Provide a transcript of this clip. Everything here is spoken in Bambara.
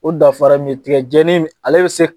O danfara min ye tigɛjɛni b ale be se